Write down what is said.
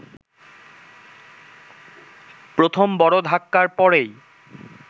প্রথম বড় ধাক্কার পরেই